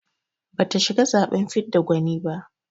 Bata shiga zaɓen fidda gwani ba.